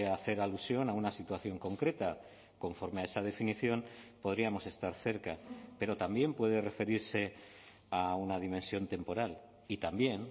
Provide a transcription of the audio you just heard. hacer alusión a una situación concreta conforme a esa definición podríamos estar cerca pero también puede referirse a una dimensión temporal y también